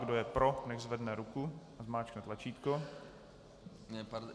Kdo je pro, nechť zvedne ruku a zmáčkne tlačítko.